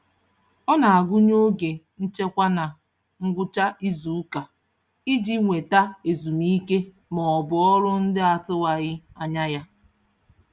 Ọ na-agụnye oge nchekwa na ngwụcha izuụka iji nweta ezumike maọbụ ọrụ ndị atụwaghị anya ya.